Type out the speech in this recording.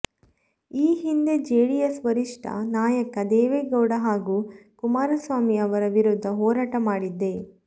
ಈ ಹಿಂದೆ ಜೆಡಿಎಸ್ ವರಿಷ್ಠ ನಾಯಕ ದೇವೇಗೌಡ ಹಾಗೂ ಕುಮಾರಸ್ವಾಮಿ ಅವರ ವಿರುದ್ಧ ಹೋರಾಟ ಮಾಡಿದ್ದೆ